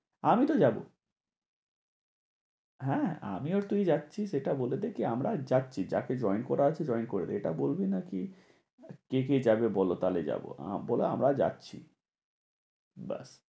আমিতো যাবোই হ্যাঁ আমি আর তুই যাচ্ছি সেটা বলে দে। কি আমরা যাচ্ছি যাকে join করার আছে join করবে, এটা বলবি নাকি? কে কে যাবে বলো তাহলে যাবো বলে আমরা যাচ্ছি ব্যাস।